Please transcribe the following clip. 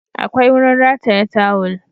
Akwai wurin rataya tawul